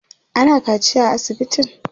ana kaciya a asibitin?